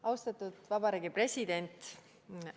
Austatud Vabariigi President!